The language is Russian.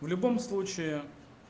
в любом случае